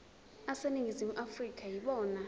aseningizimu afrika yibona